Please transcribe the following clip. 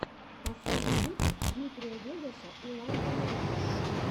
последний выпуск дмитрия вегаса и лайка майка